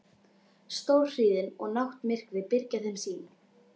Stórhríðin og náttmyrkrið byrgja þeim sýn.